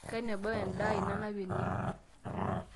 kanu embau endaa aai nanap ene